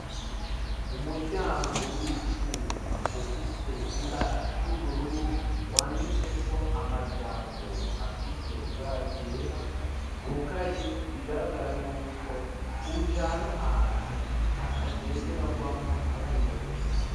Umuryango w'icuma ufise ibara ry'ubururu, wanditseko amajambo afise ibara ryera, wugaye bigaragara yuko ujana ahantu hatagenderwamwo abaribo bose.